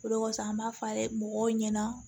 O de kɔsɔn an b'a fɔ dɛ mɔgɔw ɲɛna